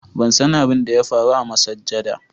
ban san abin da ya faru a masajjada